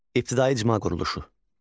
İbtidai icma quruluşu.